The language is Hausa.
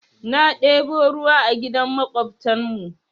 Na ɗebo ruwa a gidan maƙwabtan mu.